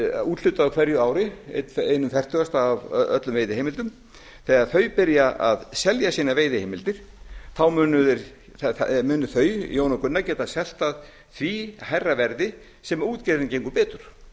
úthlutað á hverju ári eins fertugasti af öllum veiðiheimildum þegar þau byrja að selja sínar veiðiheimildir þá munu þau geta selt það hærra verði sem útgerðin gengur betur